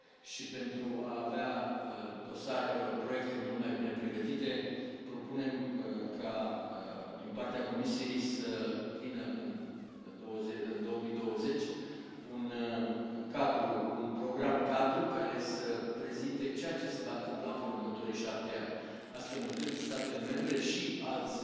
și pentru a avea proiecte mult mai bine pregătite, propunem ca, din partea Comisiei, să vină în 2020 un program cadru care să prezinte ceea ce se va întâmpla în următorii 7 ani, astfel încât statele membre și alți